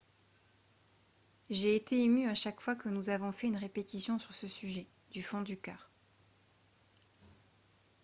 « j’ai été ému à chaque fois que nous avons fait une répétition sur ce sujet du fond du cœur. »